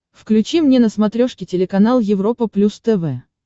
включи мне на смотрешке телеканал европа плюс тв